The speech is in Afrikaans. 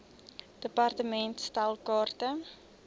department stel kaarte